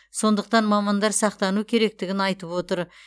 сондықтан мамандар сақтану керектігін айтып отыр